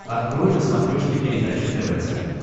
открой на смотрешке передачу тв центр